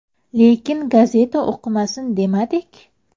Lekin gazeta o‘qimasin, demadik.